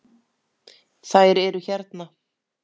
Þær eru hérna